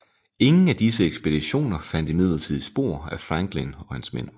Ingen af disse ekspeditioner fandt imidlertid spor af Franklin og hans mænd